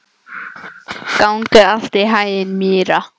Gangi þér allt í haginn, Myrra.